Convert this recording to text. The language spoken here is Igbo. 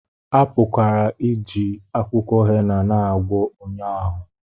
A pụkwara iji akwụkwọ hena na-agwọ ọnya ahụ